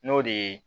N'o de ye